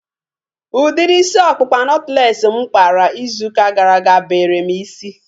Udiri isi ọkpụkpa nọtlees mụ kpara izu ụka gara aga bere m isi